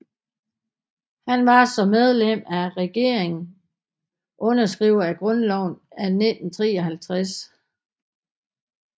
Han var som medlem af regeringen underskriver af Grundloven af 1953